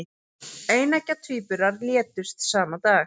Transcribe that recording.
Eineggja tvíburar létust sama dag